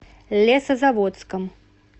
лесозаводском